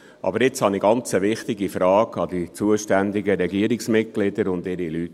Aber jetzt habe ich eine ganz wichtige Frage an die zuständigen Regierungsmitglieder und ihre Leute.